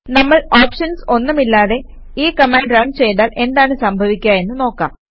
നമ്മൾ ഓപ്ഷൻസ് ഒന്നുമില്ലാതെ ഈ കമാൻഡ് റണ് ചെയ്താൽ എന്താണ് സംഭവിക്കുക എന്ന് നോക്കാം